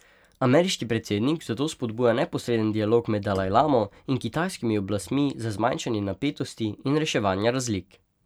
Ameriški predsednik zato spodbuja neposreden dialog med dalajlamo in kitajskimi oblastmi za zmanjšanje napetosti in reševanje razlik.